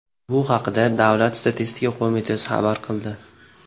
Bu haqda Davlat statistika qo‘mitasi xabar qildi .